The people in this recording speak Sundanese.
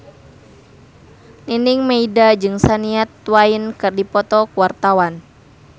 Nining Meida jeung Shania Twain keur dipoto ku wartawan